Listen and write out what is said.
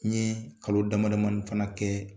N ye kalo dama damani fana kɛ.